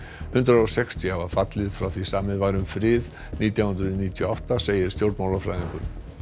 hundrað og sextíu hafa fallið frá því samið var um frið nítján hundruð níutíu og átta segir stjórnmálafræðingur